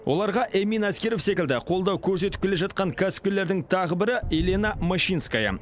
оларға эмин әскеров секілді қолдау көрсетіп келе жатқан кәсіпкерлердің тағы бірі елена мащинская